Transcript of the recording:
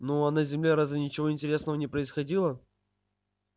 ну а на земле разве ничего интересного не происходило